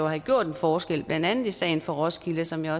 have gjort en forskel blandt andet i sagen fra roskilde som jeg